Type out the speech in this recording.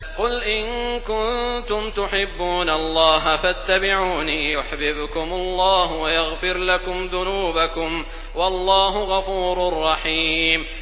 قُلْ إِن كُنتُمْ تُحِبُّونَ اللَّهَ فَاتَّبِعُونِي يُحْبِبْكُمُ اللَّهُ وَيَغْفِرْ لَكُمْ ذُنُوبَكُمْ ۗ وَاللَّهُ غَفُورٌ رَّحِيمٌ